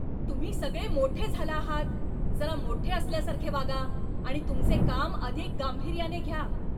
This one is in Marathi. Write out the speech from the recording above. तुम्ही सगळे मोठे झाला आहात! जरा मोठे असल्यासारखे वागा आणि तुमचे काम अधिक गांभीर्याने घ्या.